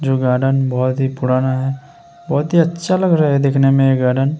जो गार्डन बोहोत ही पुराना है। बोहोत ही अच्छा लग रहा हैं देखने में ये गार्डन ।